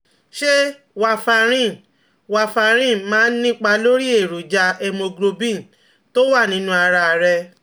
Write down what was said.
Ṣé Warfarin Warfarin máa ń nípa lórí èròjà hémoglobin tó wà nínú ara rẹ̀?